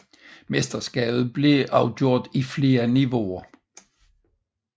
Mesterskabet blev afgjort i flere niveauer